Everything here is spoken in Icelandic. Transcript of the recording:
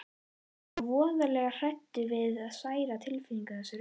Ertu svona voðalega hræddur við að særa tilfinningar þessa rudda?